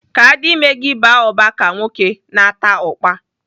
Ka adime gị baa ụba ka nwoke, na-ata ụkpa.